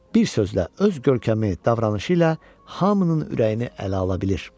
Bir sözlə, öz görkəmi, davranışı ilə hamının ürəyini ələ ala bilir.